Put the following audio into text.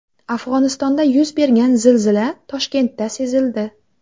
Afg‘onistonda yuz bergan zilzila Toshkentda sezildi.